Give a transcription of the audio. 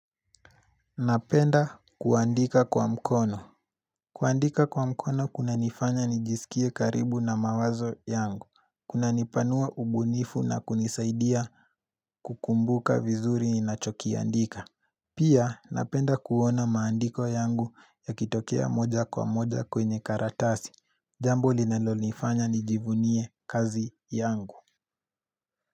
Napenda kuandika kwa mkono kuandika kwa mkono kuna nifanya nijisikie karibu na mawazo yangu Kuna nipanua ubunifu na kunisaidia kukumbuka vizuri ninachokiandika Pia napenda kuona maandiko yangu yakitokea moja kwa moja kwenye karatasi Jambo linalo nifanya nijivunie kazi yangu.